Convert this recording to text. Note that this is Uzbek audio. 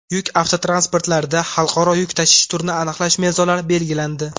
Yuk avtotransportlarida xalqaro yuk tashish turini aniqlash mezonlari belgilandi.